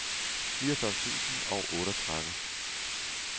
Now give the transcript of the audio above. niogfyrre tusind og otteogtredive